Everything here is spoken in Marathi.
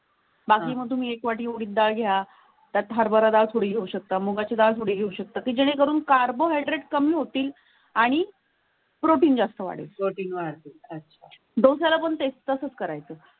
बाकी मग तुम्ही एक वाटी उडीद डाळ घ्या, त्यात हरभरा डाळी येऊ शकता, मुगाची डाळ येऊ शकतात, जेणेकरून carbohydride कमी होतील आणि प्रोटीन जास्त वाढतो. डोसाला पण तसंच करायचं.